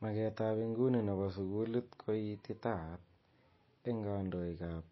Maket ab inguni nebo sukulit ko ititaat eng kandoik ab